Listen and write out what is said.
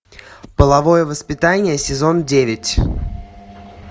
половое воспитание сезон девять